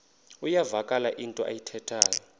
iyavakala into ayithethayo